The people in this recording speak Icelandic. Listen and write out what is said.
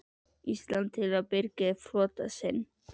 Íslands til að birgja upp flota sinn.